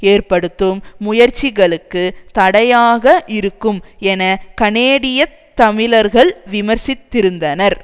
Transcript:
ஏற்படுத்தும் முயற்சிகளுக்கு தடையாக இருக்கும் என கனேடியத் தமிழர்கள் விமர்சித்திருந்தனர்